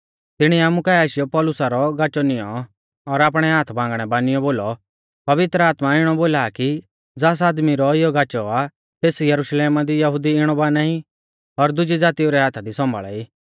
तिणीऐ आमु काऐ आशीयौ पौलुसा रौ गाचौ नियौं और आपणै हाथबांगणै बानियौ बोलौ पवित्र आत्मा इणौ बोला आ कि ज़ास आदमी रौ इयौ गाचौ आ तेस यरुशलेमा दी यहुदी इणौ बाना ई और दुजी ज़ातीऊ रै हाथा दी सौंभाल़ा ई